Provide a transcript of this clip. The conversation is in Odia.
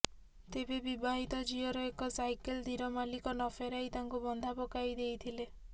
ତେବେ ବିବାହିତ ଝିଅର ଏକ ସାଇକେଲ ଧୀର ମଳିକ ନଫେରାଇ ତାକୁ ବନ୍ଧା ପକାଇ ଦେଇଥିଲେ